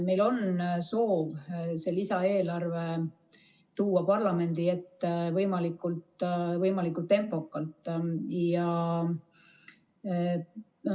Meil on soov see lisaeelarve tuua parlamendi ette võimalikult tempokalt.